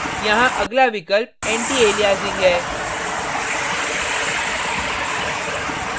यहाँ अगला विकल्प antialiasing है